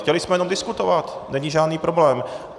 Chtěli jsme jen diskutovat, není žádný problém.